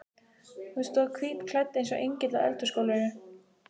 Hún stóð hvítklædd eins og engill á eldhúsgólfinu.